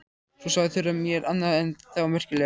Svo sagði Þura mér annað enn þá merkilegra.